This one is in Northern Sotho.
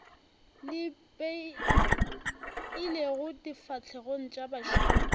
le ipeilego difahlegong tša bašomi